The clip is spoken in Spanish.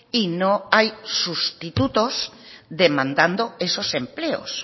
y no hay sustitutos demandando esos empleos